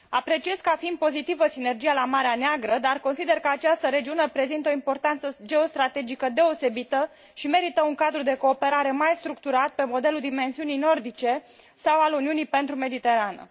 Apreciez ca fiind pozitivă sinergia la Marea Neagră, dar consider că această regiune prezintă o importanță geostrategică deosebită și merită un cadru de cooperare mai structurat, pe modelul dimensiunii nordice sau al Uniunii pentru Mediterană.